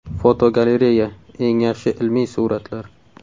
Fotogalereya: Eng yaxshi ilmiy suratlar.